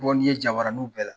Bɔ n'i ye jabaraninw bɛɛ la.